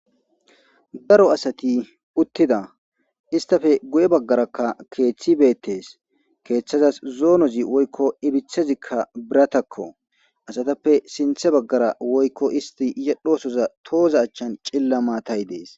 Daro asati uttida istape guye baggaraka keeththi beettees keeththazas zoonozi woykko ipithezikka biratakko asatappe sinthe baggara woykko isti yedhosoza tooza achchan cilla maatay dees.